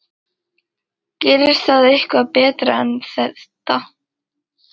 Gerist það eitthvað betra en þetta?